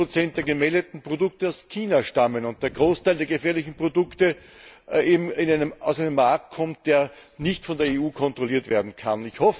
60 der gemeldeten Produkte aus China stammen und der Großteil der gefährlichen Produkte somit aus einem Markt kommt, der nicht von der EU kontrolliert werden kann.